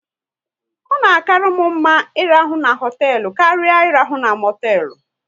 Ọ na karmu mma ị rahụ na hotelu karịa irahu na motelu